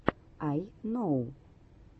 ай ноу